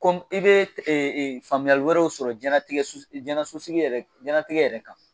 Kɔmi i bɛ faamuyali wɛrɛw sɔrɔ jɛnatigɛ sosigi jɛnɛatigɛ yɛrɛ kan